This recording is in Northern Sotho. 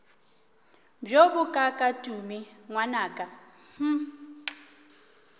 bjo bokaaka tumi ngwanaka hm